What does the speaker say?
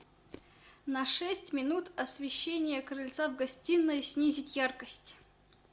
на шесть минут освещение крыльца в гостиной снизить яркость